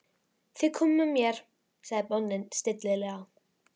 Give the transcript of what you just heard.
Þið komið með mér, sagði bóndinn stillilega.